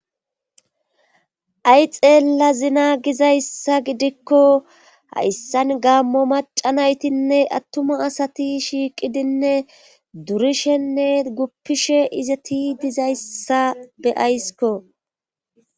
Hay xeella zina gizayssa gidikko hayssan gaammo maca naytinne attuma asati shiiqidinne durishenne guppishe izati dizayssa be aysiko